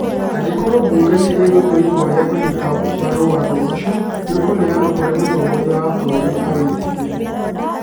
Angĩkorũo mbunge nĩ ĩgũtua itua rĩa kũnyita mbaru watho ũcio, nĩ ũkũneanwo kũrĩ mũtongoria wa bũrũri amwĩtĩkĩre.